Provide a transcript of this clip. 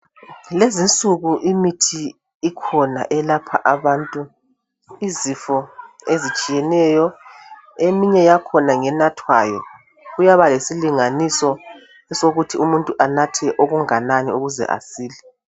Lezinsuku imithi ikhona elapha abantu izifo ezitshiyeneyo eminye yakhona ngenathwayo kuyaba lesilinganiso sokuthi umuntu anathe okunganani ukuze asile.